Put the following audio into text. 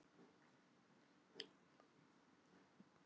Hún var þá hér á hátíðinni!